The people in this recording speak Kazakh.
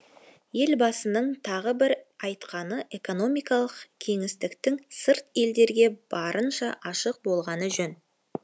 елбасының тағы бір айтқаны экономикалық кеңістіктің сырт елдерге барынша ашық болғаны жөн